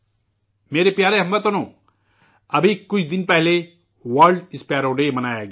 میرے پیارے ہم وطنو، ابھی کچھ دن پہلےورلڈ اسپیرو ڈےمنایا گیا